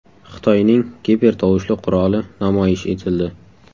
Xitoyning gipertovushli quroli namoyish etildi .